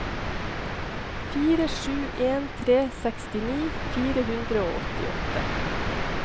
fire sju en tre sekstini fire hundre og åttiåtte